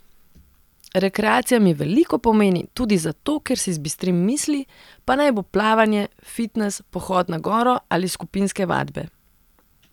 Rekreacija mi veliko pomeni, tudi zato, ker si zbistrim misli, pa naj bo plavanje, fitnes, pohod na goro ali skupinske vadbe.